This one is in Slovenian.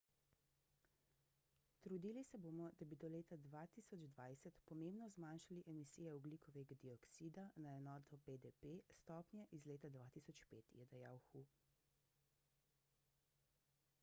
trudili se bomo da bi do leta 2020 pomembno zmanjšali emisije ogljikovega dioksida na enoto bdp s stopnje iz leta 2005 je dejal hu